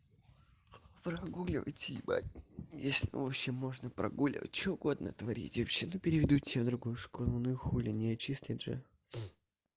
прогуливать ебать если ты вообще можно прогулять что угодно натворить вообще-то переведут тебе в другую школу ну и хули не отчислять же